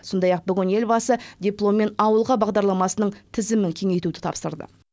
сондай ақ елбасы дипломмен ауылға бағдарламасының тізімін кеңейтуді тапсырды